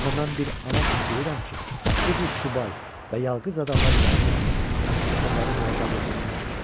Amma mən bir ana kimi deyirəm ki, bu cür subay və yalqız adamlar yazıqdırlar, onları görəndə ağlamağım gəlir.